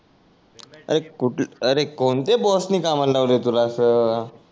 R कुठ अरे कोणते बॉस नि कामाला लावल आहे तुला अस